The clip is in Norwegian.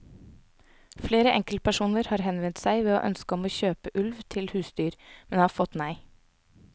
Flere enkeltpersoner har henvendt seg med ønske om å kjøpe ulv til husdyr, men har fått nei.